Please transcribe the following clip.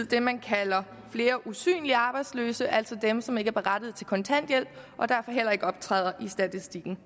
dem man kalder usynlige arbejdsløse altså dem som ikke er berettiget til kontanthjælp og derfor heller ikke optræder i statistikken